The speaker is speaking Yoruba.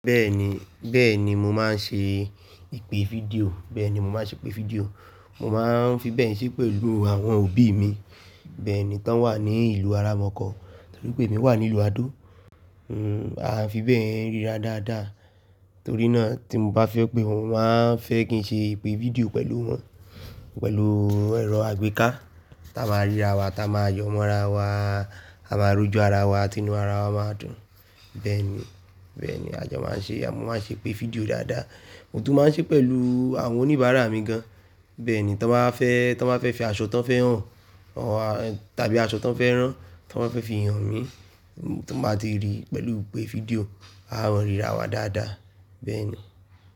Bẹ́ẹ̀ni, bẹ́ẹ̀ni mo máa ń ṣe ìpè fídíò, bẹ́ẹ̀ni mo máa ṣe ìpè fídíò. Mo máa ń fi bẹ́ẹ̀ ṣe pẹ̀lú àwọn òbí mi. Bẹ́ẹ̀ni, tá ń wà ní ìlú aramọ̀kan, torí pé emi wà nílùú Adó. Hmm, a fi bẹ́ẹ̀ ríra dáadáa, torí náà tí mo bá fẹ́ pé wọ́n, wọ́n a fẹ́ kí n ṣe ìpè fídíò pẹ̀lú wọn, pẹ̀lú ẹrọ àgbéká, táa máa ríra wa, táa máa yọ̀ mọ́ra wa, á máa rojọ ara wa, tinu ara wa máa dùn. Bẹ́ẹ̀ni, bẹ́ẹ̀ni a jọ máa ń ṣe, mo máa ń ṣe ìpè fídíò dáadáa. Bẹ́ẹ̀ni, tá ń wà ní ìlú aramọ̀kan, torí pé emi wà nílùú Adó. Bẹ́ẹ̀ni, tí wọ́n bá fẹ́, tí wọ́n bá fẹ́ fi aṣọ tí wọ́n fẹ́ hàn, tàbí aṣọ tí wọ́n fẹ́ rán, tí wọ́n bá fẹ́ fi hàn mi, tí mo bá ti rí i pẹ̀lú ìpè fídíò, a máa ríra wa dáadáa, bẹ́ẹ̀ni.